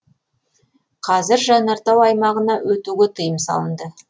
қазір жанартау аймағына өтуге тыйым салынды